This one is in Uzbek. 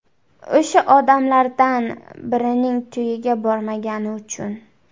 O‘sha odamlardan birining to‘yiga bormagani uchun.